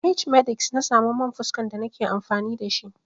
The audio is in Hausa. A h-medix na samu man fuska da na ke amfani da shi.